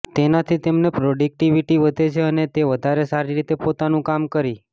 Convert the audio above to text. તેનાથી તેમની પ્રોડક્ટિવિટી વધે છે અને તે વધારે સારી રીતે પોતાનું કામ કરી